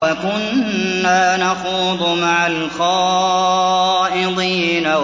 وَكُنَّا نَخُوضُ مَعَ الْخَائِضِينَ